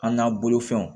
An n'an bolofɛnw